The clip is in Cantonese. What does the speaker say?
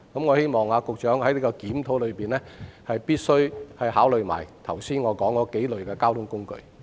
我希望局長在檢討時考慮我剛才提及的數類交通工具。